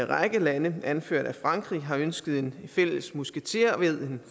række lande anført af frankrig har ønsket en fælles musketered man